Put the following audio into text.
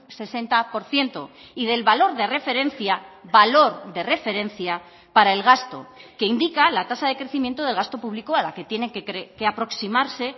sesenta por ciento y del valor de referencia valor de referencia para el gasto que indica la tasa de crecimiento del gasto público a la que tienen que aproximarse